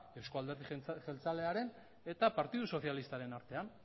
euzko alderdi jeltzalearen eta partidu sozialistaren artean